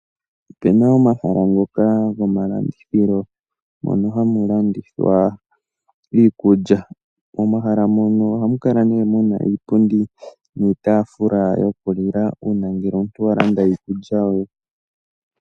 Ope na omahala ngoka gomalandithilo mono hamu landithwa iikulya. Momahala mono ohamu kala ne mu na iipundi niitafula yokulila uuna omuntu al landa iikulya ye.